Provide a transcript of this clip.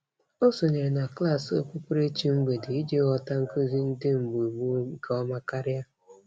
Ọ sonyere na klaasị okpukperechi mgbede iji ghọta nkụzi ndị mgbe gboo nke ọma karịa.